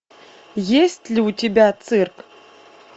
есть ли у тебя цирк